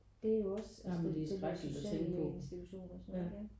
Det er jo også altså de der sociale institutioner og sådan noget ja